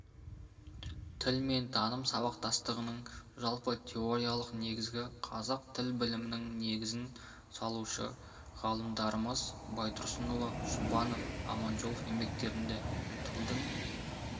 тіл мен таным сабақтастығының жалпы теориялық негізі қазақ тіл білімінің негізін салушы ғалымдарымыз байтұрсынұлы жұбанов аманжолов еңбектерінде тілдің